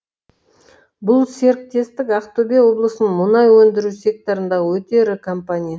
бұл серіктестік ақтөбе облысының мұнай өндіру секторындағы өте ірі компания